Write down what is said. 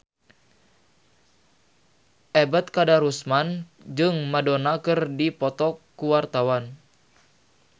Ebet Kadarusman jeung Madonna keur dipoto ku wartawan